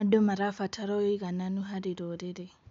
Andũ marabatara ũigananu harĩ rũrĩrĩ.